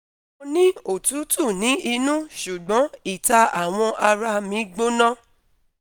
Mo ni otutu ni inu sugbon ita awọn ara mi gbona